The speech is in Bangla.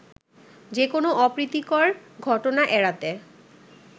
যেকোন অপ্রীতিকর ঘটনা এড়াতে